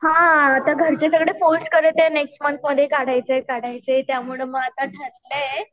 हां आता घरचे सगळे फोर्स करत आहे नेक्स्ट मन्थ मध्ये काढायचं आहे काढायचं आहे त्यामुळं म आता ठरलंय.